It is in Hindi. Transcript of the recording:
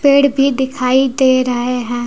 पेड़ भी दिखाई दे रहे हैं।